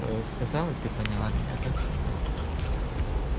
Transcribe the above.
сказала ты поняла меня так что не надо тут